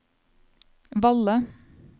Valle